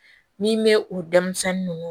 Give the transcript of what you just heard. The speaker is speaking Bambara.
Ni n bɛ u denmisɛnni ninnu